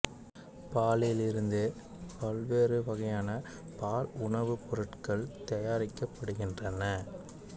பாலில் இருந்து பல்வேறு வகையான பால் உணவுப் பொருட்கள் தயாரிக்கப்படுகின்றன